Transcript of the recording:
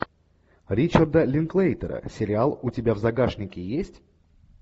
ричарда линклейтера сериал у тебя в загашнике есть